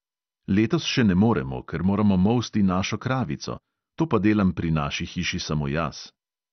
Letos še ne moremo, ker moramo molsti našo kravico, to pa delam pri naši hiši samo jaz.